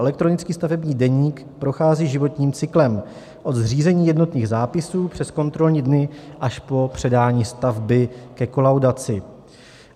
Elektronický stavební deník prochází životním cyklem od zřízení jednotných zápisů přes kontrolní dny až po předání stavby ke kolaudaci.